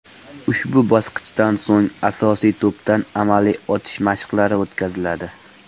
Ushbu bosqichdan so‘ng asosiy to‘pdan amaliy otish mashqlari o‘tkaziladi.